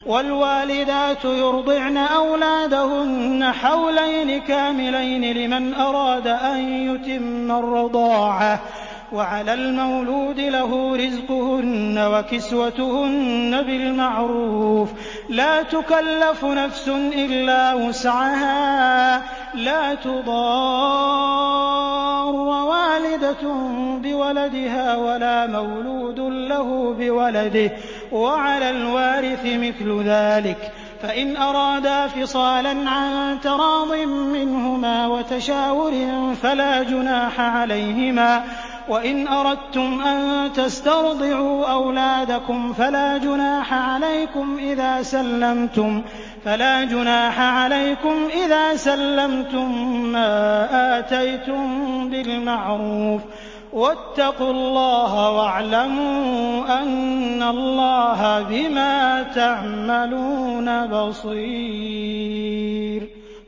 ۞ وَالْوَالِدَاتُ يُرْضِعْنَ أَوْلَادَهُنَّ حَوْلَيْنِ كَامِلَيْنِ ۖ لِمَنْ أَرَادَ أَن يُتِمَّ الرَّضَاعَةَ ۚ وَعَلَى الْمَوْلُودِ لَهُ رِزْقُهُنَّ وَكِسْوَتُهُنَّ بِالْمَعْرُوفِ ۚ لَا تُكَلَّفُ نَفْسٌ إِلَّا وُسْعَهَا ۚ لَا تُضَارَّ وَالِدَةٌ بِوَلَدِهَا وَلَا مَوْلُودٌ لَّهُ بِوَلَدِهِ ۚ وَعَلَى الْوَارِثِ مِثْلُ ذَٰلِكَ ۗ فَإِنْ أَرَادَا فِصَالًا عَن تَرَاضٍ مِّنْهُمَا وَتَشَاوُرٍ فَلَا جُنَاحَ عَلَيْهِمَا ۗ وَإِنْ أَرَدتُّمْ أَن تَسْتَرْضِعُوا أَوْلَادَكُمْ فَلَا جُنَاحَ عَلَيْكُمْ إِذَا سَلَّمْتُم مَّا آتَيْتُم بِالْمَعْرُوفِ ۗ وَاتَّقُوا اللَّهَ وَاعْلَمُوا أَنَّ اللَّهَ بِمَا تَعْمَلُونَ بَصِيرٌ